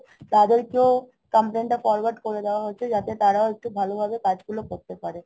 তাদেরকেও complain টা forward করে দেয়া হচ্ছে যাতে তারাও একটু ভালোভাবে কাজগুলা করতে পারে